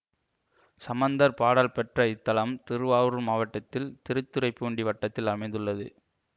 சம்மந்தர் பாடல் பெற்ற இத்தலம் திருவாஊர் மாவட்டத்தில் திருத்துறைப்பூண்டி வட்டத்தில் அமைந்துள்ளது